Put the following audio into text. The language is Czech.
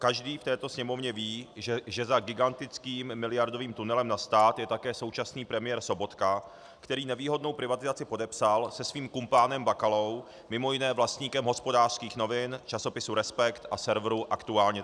Každý v této Sněmovně ví, že za gigantickým miliardovým tunelem na stát je také současný premiér Sobotka, který nevýhodnou privatizaci podepsal se svým kumpánem Bakalou, mimo jiné vlastníkem Hospodářských novin, časopisu Respekt a serveru aktuálně.